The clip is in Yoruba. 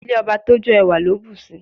Ilé ọba tójó ẹwà ló bùsi.